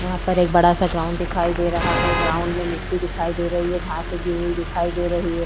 यहाँ पर एक बड़ा सा ग्राउंड दिखाई दे रहा है ग्राउंड में मिट्टी दिखाई दे रही है घास उगी हुई दिखाई दे रही है ।